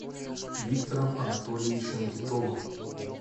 виктором анатольевичем титовым